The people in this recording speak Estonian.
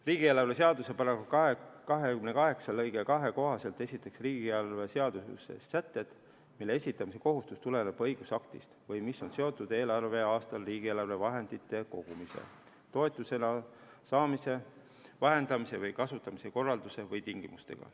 Riigieelarve seaduse § 28 lõike 2 kohaselt esitatakse riigieelarve seaduses sätted, mille esitamise kohustus tuleneb õigusaktist või mis on seotud eelarveaastal riigieelarve vahendite kogumise, toetusena saamise, vahendamise või kasutamise korralduse või tingimustega.